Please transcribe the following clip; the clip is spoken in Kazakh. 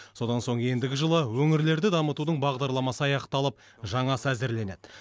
содан соң ендігі жылы өңірлерді дамытудың бағдарламасы аяқталып жаңасы әзірленеді